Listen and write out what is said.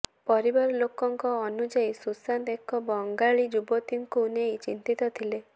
ପରିବାର ଲୋକଙ୍କ ଅନୁଯାୟୀ ସୁଶାନ୍ତ ଏକ ବଙ୍ଗାଳୀ ଯୁବତୀଙ୍କୁ ନେଇ ଚିନ୍ତିତ ଥିଲେ